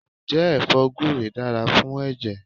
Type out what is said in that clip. Ǹjẹ́ ẹfọ́ gure dára fún ẹ̀jẹ̀?